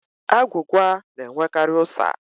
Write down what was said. Agwụgwa na-enwekarị ụ́sà.